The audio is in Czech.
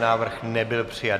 Návrh nebyl přijat.